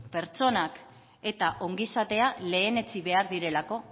pertsonak eta ongizatea lehenetsi behar direlako